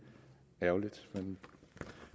ærgerligt men